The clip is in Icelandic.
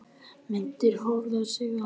Myndir: Höfundur og Siglingastofnun Íslands